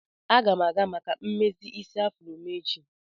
Aga m aga maka mmezi isi afro m echi.